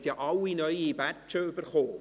Sie haben ja alle neue Badges erhalten.